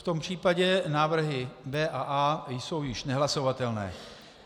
V tom případě návrhy B a A jsou již nehlasovatelné.